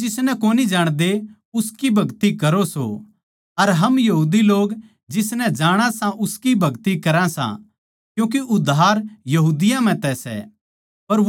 थम जिसनै कोनी जाणदे उसकी भगति करो सो अर हम यहूदी लोग जिसनै जाणा सा उसकी भगति करा सां क्यूँके उद्धार यहूदियाँ म्ह तै सै